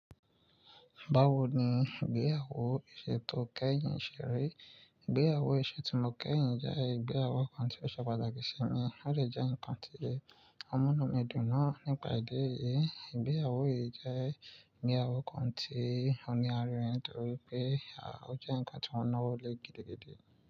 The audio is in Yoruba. Báwo ni ìgbéyàwó iṣẹ́ tó kẹ́yìn ṣe rí? Ìgbéyàwó iṣẹ́ tí mo kẹ́yìn jẹ́ ìgbéyàwó kan tí ó ṣe pàtàkì sí mi, ó de jẹ́ ǹkan tí omunu mi dùn-ún naa nípa ìdí èyí. Ìgbéyàwó yìí jẹ́ ìgbéyàwó kan tí ò ní àrínrin nítorí pé a ò jẹ́ ǹkan tí wọn naawo lé gidigidi.